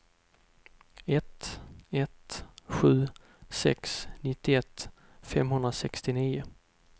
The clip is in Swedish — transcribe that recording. ett ett sju sex nittioett femhundrasextionio